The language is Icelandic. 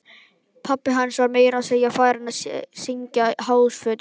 Pabbi hans var meira að segja farinn að syngja hástöfum!